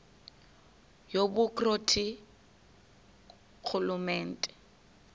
yobukro ti ngurhulumente